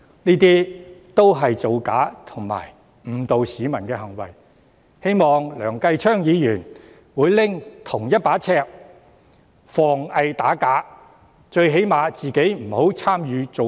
這些也是造假及誤導市民的行為，希望梁繼昌議員會採用同一把尺防偽打假，最低限度他本人不要參與造假。